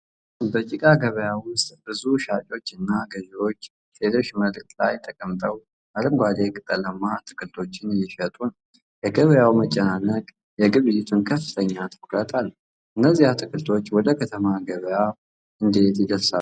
በጭቃማ ገበያ ውስጥ ብዙ ሻጮችና ገዢዎች፣ ሴቶች መሬት ላይ ተቀምጠው አረንጓዴ ቅጠላማ አትክልቶችን እየሸጡ ነው። የገበያው መጨናነቅ የግብይቱን ከፍተኛ ትኩረት አለው። እነዚህ አትክልቶች ወደ ከተማ ገበያዎች እንዴት ይደርሳሉ?